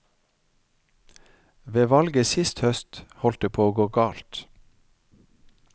Ved valget sist høst holdt det på å gå galt.